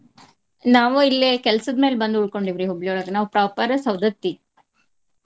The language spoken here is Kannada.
ನಾವ ಇಲ್ಲೆ ಕೆಲ್ಸದ್ ಮ್ಯಾಲ ಬಂದ್ ಉಳ್ಕೊಂಡೆವ್ರಿ ಹುಬ್ಳಿಯೊಳಗ ನಾವ್ proper ಸೌದತ್ತಿ.